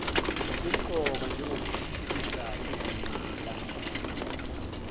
kumqoka njengokuthuthukisa izingqala